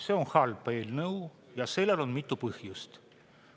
See on halba eelnõu ja sellel on mitu põhjust.